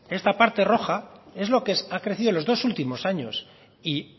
esta parte roja es lo que ha crecido en los dos últimos años y